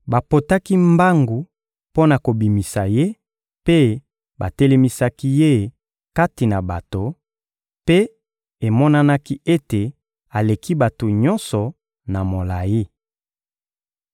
Bapotaki mbangu mpo na kobimisa ye, mpe batelemisaki ye kati na bato; mpe emonanaki ete aleki bato nyonso na molayi.